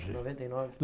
Em noventa e nova.